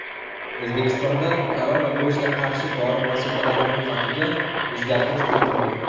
O‘zbekistonda koronavirusga qarshi dori vositalari ro‘yxatiga o‘zgartirish kiritildi.